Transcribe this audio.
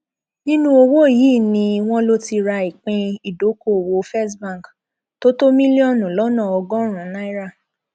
nínú owó yìí ni wọn lọ ti ra ìpín ìdókooòwò first bank tó tó mílíọnù lọnà ọgọrùnún náírà